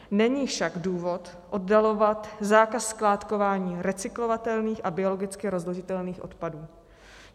Není však důvod oddalovat zákaz skládkování recyklovatelných a biologicky rozložitelných odpadů.